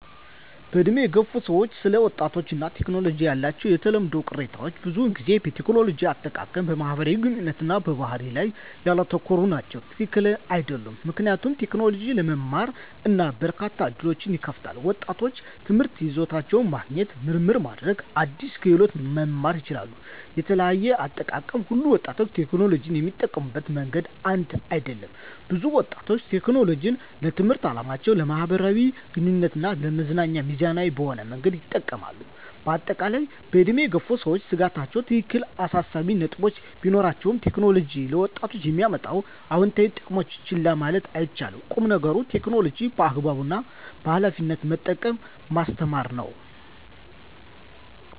በዕድሜ የገፉ ሰዎች ስለ ወጣቶች እና ቴክኖሎጂ ያላቸው የተለመዱ ቅሬታዎች ብዙውን ጊዜ በቴክኖሎጂ አጠቃቀም፣ በማህበራዊ ግንኙነት እና በባህሪ ላይ ያተኮሩ ናቸው። # ትክክል አይደሉም ምክንያቱም: ቴክኖሎጂ ለመማር እና በርካታ ዕድሎችን ይከፍታል። ወጣቶች ትምህርታዊ ይዘቶችን ማግኘት፣ ምርምር ማድረግ እና አዳዲስ ክህሎቶችን መማር ይችላሉ። * የተለያየ አጠቃቀም: ሁሉም ወጣቶች ቴክኖሎጂን የሚጠቀሙበት መንገድ አንድ አይደለም። ብዙ ወጣቶች ቴክኖሎጂን ለትምህርታዊ ዓላማዎች፣ ለማኅበራዊ ግንኙነት እና ለመዝናኛ ሚዛናዊ በሆነ መንገድ ይጠቀማሉ። በአጠቃላይ፣ በዕድሜ የገፉ ሰዎች ስጋቶች ትክክለኛ አሳሳቢ ነጥቦች ቢኖራቸውም፣ ቴክኖሎጂ ለወጣቶች የሚያመጣቸውን አዎንታዊ ጥቅሞች ችላ ማለት አይቻልም። ቁም ነገሩ ቴክኖሎጂን በአግባቡ እና በኃላፊነት መጠቀምን ማስተማር ነው።